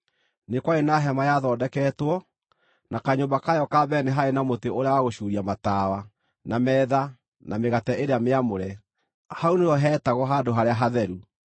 Nĩ kwarĩ na hema yathondeketwo, na kanyũmba kayo ka mbere nĩ haarĩ na mũtĩ ũrĩa wa gũcuuria matawa, na metha, na mĩgate ĩrĩa mĩamũre; hau nĩho heetagwo “Handũ-harĩa-Hatheru.”